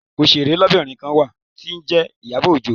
Oṣèré lóbìnrin kan wà tí ó ń jẹ́ Ìyábọ̀ Òjó.